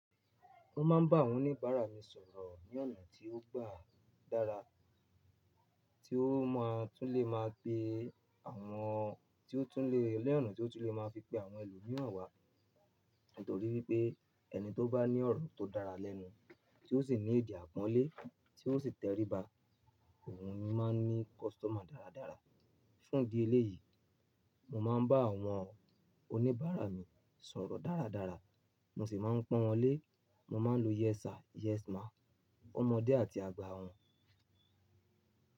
Mo máa ń bá àwọn oníbàárà mi sọ̀rọ̀ ní ọ̀nà tí ó gba dára, tí ó máa tún lè máa pe àwọn tí ó tún lè, lẹ́ẹ̀nu tí ó tún lè máa fi pe àwọn ẹlòmíràn wá, nítorí wípé ẹni tó bá ní ọ̀rọ̀ tó dára lẹ́nu, tí ó sì ní èdè àpọ́nlé, tí ó sì tẹríba, òun ni máa ń ní kọ́sítọ́mà dáradára. Fún ìdí eléyìí, mo máa ń bá àwọn oníbàárà mi sọ̀rọ̀ dáradára, mo sì máa ń pọ́n wọn lé, mo máa ń lo "Yes sir, yes ma" fún ọmọdé àti àgbà wọn.